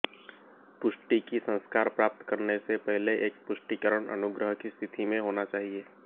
पुष्टि की संस्कार प्राप्त करने से पहले एक पुष्टिकरण अनुग्रह की स्थिति में होना चाहिए